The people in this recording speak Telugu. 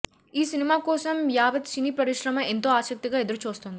ఈ సినిమా కోసం యావత్ సినీ పరిశ్రమ ఎంతో ఆసక్తిగా ఎదురు చూస్తోంది